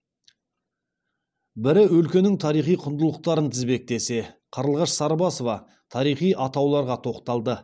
бірі өлкенің тарихи құндылықтарын тізбектесе қарлығаш сарыбасова тарихи атауларға тоқталды